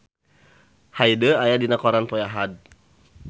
Hyde aya dina koran poe Ahad